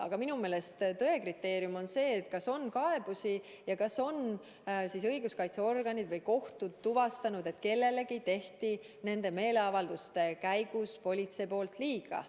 Aga minu meelest on tõe kriteerium see, kas on esitatud kaebusi ja kas õiguskaitseorganid või kohtud on tuvastanud, et politsei tegi kellelegi nende meeleavalduste käigus liiga.